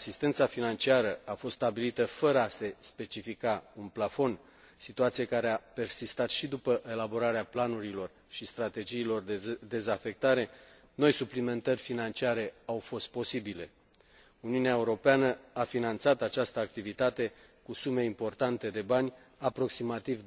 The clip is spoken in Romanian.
asistența financiară a fost stabilită fără a se specifica un plafon, situație care a persistat și după elaborarea planurilor și strategiilor de dezafectare, noi suplimentări financiare au fost posibile. Uniunea Europeană a finanțat această activitate cu sume importante de bani, aproximativ